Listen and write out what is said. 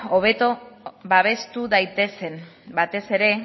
hobeto babestu daitezen batez ere